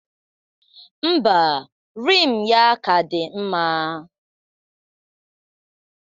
Ḿbà, Rim ya ka dị mma.